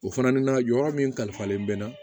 O fana na yɔrɔ min kalifalen bɛ na